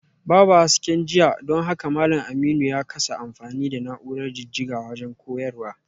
Babu hasken jiya don haka malam Aminu ya kasa amfani da na’urar jijjiga wajen koyarwa